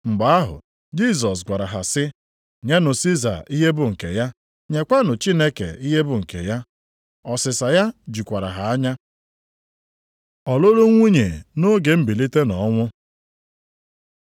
Mgbe ahụ Jisọs gwara ha sị, “Nyenụ Siza ihe bụ nke ya, nyekwanụ Chineke ihe bụ nke ya.” Ọsịsa ya jụkwara ha anya. Ọlụlụ nwunye nʼoge mbilite nʼọnwụ